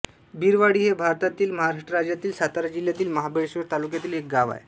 बिरवाडी हे भारतातील महाराष्ट्र राज्यातील सातारा जिल्ह्यातील महाबळेश्वर तालुक्यातील एक गाव आहे